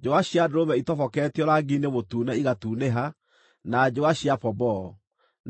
njũa cia ndũrũme itoboketio rangi-inĩ mũtune igatunĩha, na njũa cia pomboo;